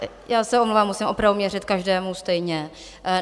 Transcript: Já se omlouvám, musím opravdu měřit každému stejně.